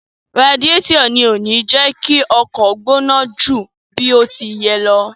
Radiẹ́tọ̀ ni kò kí ń jẹ kí ọkọ̀ ó gbóná ju bí ó ti yẹ lọ.